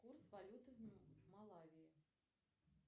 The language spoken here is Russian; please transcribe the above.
курс валюты в малавии